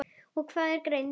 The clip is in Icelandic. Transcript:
og Hvað er greind?